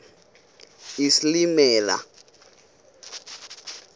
isilimela